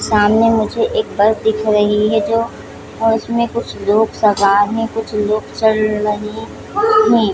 सामने मुझे एक बस दिख रही है जो उसमे कुछ लोग सवार है कुछ लोग चढ़ रहे है।